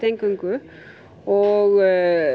eingöngu og